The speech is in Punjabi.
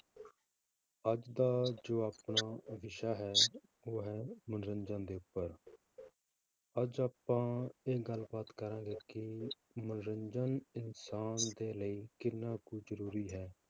ਅੱਜ ਦਾ ਜੋ ਆਪਣਾ ਵਿਸ਼ਾ ਹੈ, ਉਹ ਹੈ ਮਨੋਰੰਜਨ ਦੇ ਉੱਪਰ ਅੱਜ ਆਪਾਂ ਇਹ ਗੱਲਬਾਤ ਕਰਾਂਗੇ ਕਿ ਮਨੋਰੰਜਨ ਇਨਸਾਨ ਦੇ ਲਈ ਕਿੰਨਾ ਕੁ ਜ਼ਰੂਰੀ ਹੈ,